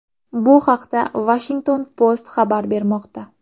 Bu haqda Washington Post xabar bermoqda .